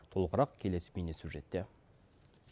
толығырақ келесі бейне сюжетте